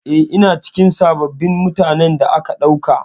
Eh, ina cikin sabbin mutanen da aka ɗauka.